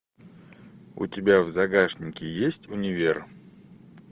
у тебя в загашнике есть универ